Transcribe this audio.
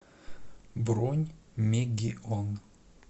бронь мегион